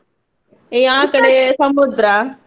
A ಸಮುದ್ರ.